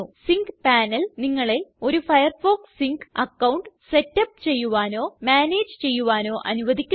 zinc panel നിങ്ങളെ ഒരു Firefox sync account setup ചെയ്യുവാനോ മാനേജ് ചെയ്യുവാനോ അനുവധിക്കുന്നു